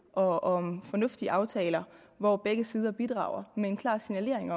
og om fornuftige aftaler hvor begge sider bidrager med en klar signalering